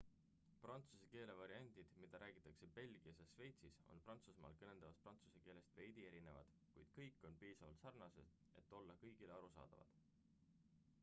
prantsuse keele variandid mida räägitakse belgias ja šveitsis on prantsusmaal kõneldavast prantsuse keelest veidi erinevad kuid kõik on piisavalt sarnased et olla kõigile arusaadavad